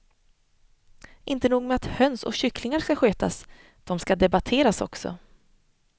Inte nog med att höns och kycklingar ska skötas, de ska debatteras också.